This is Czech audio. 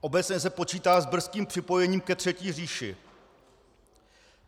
Obecně se počítá s brzkým připojením ke Třetí říši.